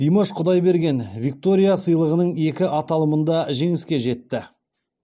димаш құдайберген виктория сыйлығының екі аталымында жеңіске жетті